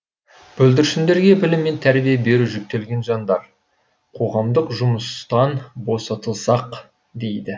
бүлдіршіндерге білім мен тәрбие беру жүктелген жандар қоғамдық жұмыстан босатылсақ дейді